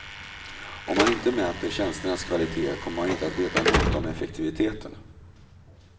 Om man inte mäter tjänsternas kvalitet kommer man inte att veta något om effektiviteten.